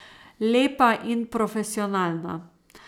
Lepa in profesionalna.